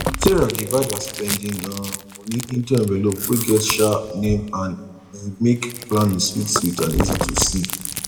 sarah divide her spending um money into envelope wey get um name and e make planning sweet sweet and easy to see